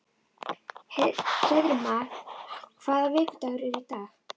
Hreiðmar, hvaða vikudagur er í dag?